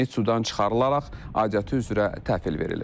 Meyit sudan çıxarılaraq adiyyatı üzrə təhvil verilib.